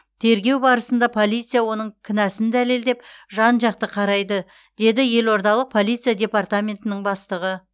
тергеу барысында полиция оның кінәсін дәлелдеп жан жақты қарайды деді елордалық полиция департаментінің бастығы